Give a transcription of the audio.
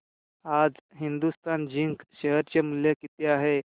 आज Hindustan zinc share चे मूल्य किती आहे